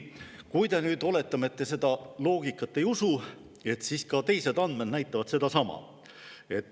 Kui te nüüd, oletame, seda loogikat ei usu, siis ka teised andmed näitavad sedasama.